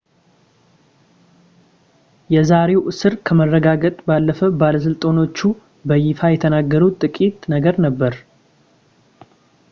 የዛሬውን እስር ከማረጋገጥ ባለፈ ባለስልጣኖቹ በይፋ የተናገሩት ጥቂት ነገር ነበር